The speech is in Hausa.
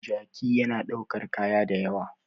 Jaki yana daukar kaya da ywa